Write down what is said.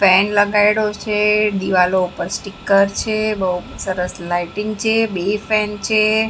Fan લગાડ્યો છે દીવાલો ઉપર સ્ટીકર છે બહુ સરસ લાઈટિંગ છે બે ફેન છે.